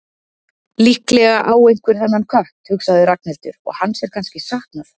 Líklega á einhver þennan kött, hugsaði Ragnhildur, og hans er kannski saknað.